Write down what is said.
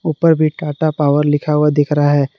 ऊपर भी टाटा पावर लिखा हुआ दिख रहा है।